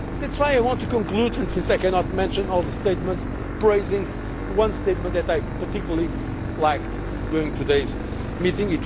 That is why I want to conclude, and since I cannot mention all the statements, by praising one statement that I particularly liked during today's meeting.